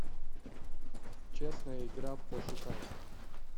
честная игра пошукай